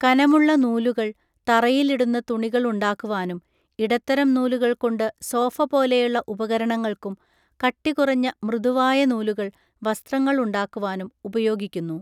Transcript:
കനമുള്ള നൂലുകൾ, തറയിൽ ഇടുന്ന തുണികൾ ഉണ്ടാക്കുവാനും, ഇടത്തരം നൂലുകൾ കൊണ്ടു സോഫപോലെയുള്ള ഉപകരണങ്ങൾക്കും, കട്ടികുറഞ്ഞ മൃദു വായ നൂലുകൾ, വസ്ത്രങ്ങൾ ഉണ്ടാക്കുവാനും ഉപയോഗിക്കുന്നു.